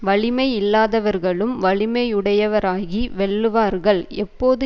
வலிமை இல்லாதவர்களும் வலிமையுடையவராகி வெல்லுவார்கள் எப்போது